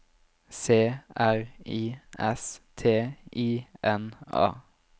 C R I S T I N A